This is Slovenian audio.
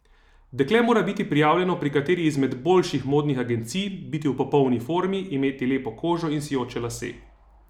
Dekle mora biti prijavljeno pri kateri izmed boljših modnih agencij, biti v popolni formi, imeti lepo kožo in sijoče lase.